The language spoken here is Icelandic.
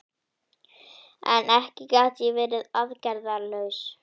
En ekki gat ég verið aðgerðalaus.